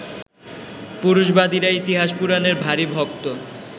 পুরুষবাদীরা ইতিহাস-পুরাণের ভারি ভক্ত